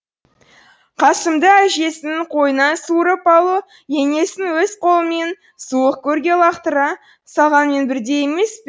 қасымды әжесінің қойнынан суырып алу енесін өз қолымен суық көрге лақтыра салғанмен бірдей емес пе